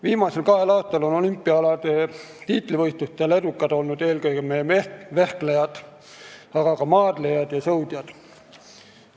Viimasel kahel aastal on olümpiaalade tiitlivõistlustel edukad olnud eelkõige meie vehklejad, aga ka maadlejad ja sõudjad.